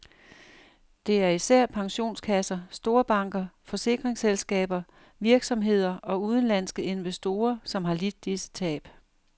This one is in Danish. Det er især pensionskasser, storbanker, forsikringsselskaber, virksomheder og udenlandske investorer, som har lidt disse tab.